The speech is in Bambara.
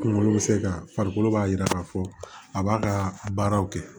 Kunkolo bɛ se ka farikolo b'a jira k'a fɔ a b'a ka baaraw kɛ